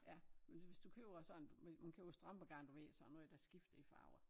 Ja men hvis du køber sådan hvis man køber strømpegarn du ved sådan noget der skifter i farver